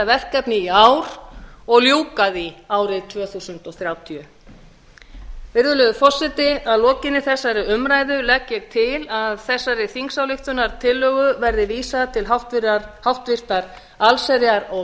verkefni í ár og ljúka því árið tvö þúsund þrjátíu virðulegur forseti að lokinni þessari umræðu legg ég til að þessari þingsályktunartillögu verði vísað til háttvirtrar allsherjar og